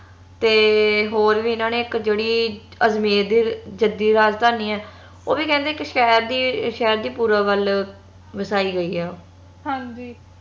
ਤੇ ਹੋਰ ਵੀ ਇਹਨਾਂ ਨੇ ਇਕ ਜੇਹੜੀ ਅਜਮੇਰ ਦੀ ਜੱਦੀ ਰਾਜਧਾਨੀ ਏ ਓਹ ਵੀ ਕਹਿੰਦੇ ਇਕ ਸ਼ਹਿਰ ਦੀ ਸ਼ਹਿਰ ਦੇ ਪੁਰਬ ਵੱਲ ਵਸਾਈ ਗਈ ਏ ਉਹ